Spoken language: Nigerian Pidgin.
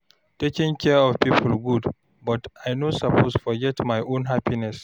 Taking care of people good, but I no suppose forget my own happiness.